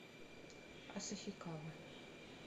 асахикава